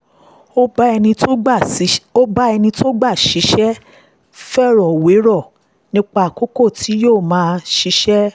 ó bá ẹni tó gbà á síṣẹ́ fèrò wérò nípa àkókò tí yóò fi máa ṣiṣẹ́